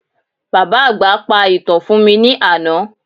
Bàbá àgbà pa ìtàn fún mi ní àná